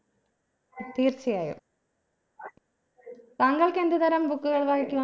തീർച്ചയായും താങ്കൾക്ക് എന്ത് തരാം book കൾ വായിക്കുവ